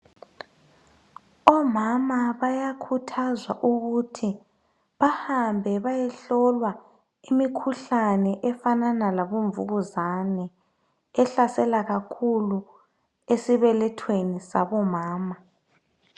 Omama bayakhuthazwa ukuthi bahambe bayehlolwa imikhuhlane efanana labomvukuzane, ehlasela kakhulu esibelethweni sabomama.